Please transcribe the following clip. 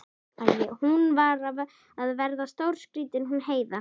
Hún var að verða stórskrýtin hún Heiða.